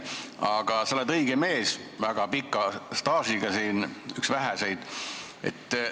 Aga sa oled üks väheseid väga pika staažiga olijaid siin ja seega õige mees seda ütlema.